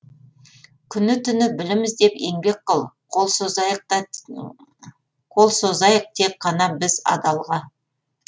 күні түні білім іздеп еңбек қыл қол созайық тек қана біз адалға